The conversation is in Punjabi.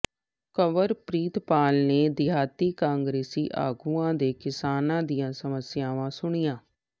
ਕੰਵਰਪ੍ਰਤਾਪ ਨੇ ਦਿਹਾਤੀ ਕਾਂਗਰਸੀ ਆਗੂਆਂ ਤੇ ਕਿਸਾਨਾਂ ਦੀਆਂ ਸਮੱਸਿਆਵਾਂ ਸੁਣੀਆਂ